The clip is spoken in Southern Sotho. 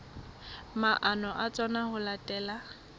maano a tsona ho latela